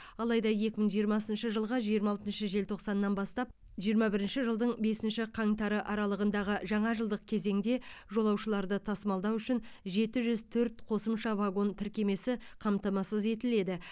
алайда екі мың жиырмасыншы жылғы жиырма алтыншы желтоқсаннан бастап жиырма бірінші жылдың бесінші қаңтары аралығындағы жаңа жылдық кезеңде жолаушыларды тасымалдау үшін жеті жүз төрт қосымша вагон тіркемесі қамтамасыз етіледі